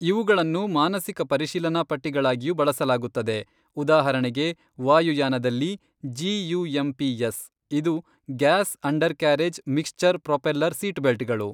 ಇವುಗಳನ್ನು ಮಾನಸಿಕ ಪರಿಶೀಲನಾಪಟ್ಟಿಗಳಾಗಿಯೂ ಬಳಸಲಾಗುತ್ತದೆ, ಉದಾಹರಣೆಗೆ ವಾಯುಯಾನದಲ್ಲಿ: "G U M P S", ಇದು "ಗ್ಯಾಸ್-ಅಂಡರ್‌ಕ್ಯಾರೇಜ್-ಮಿಕ್ಸ್ಚರ್-ಪ್ರೊಪೆಲ್ಲರ್-ಸೀಟ್‌ಬೆಲ್ಟ್‌ಗಳು".